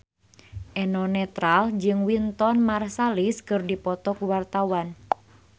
Eno Netral jeung Wynton Marsalis keur dipoto ku wartawan